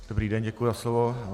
Dobrý den, děkuji za slovo.